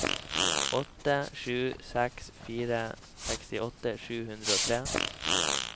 åtte sju seks fire sekstiåtte sju hundre og tre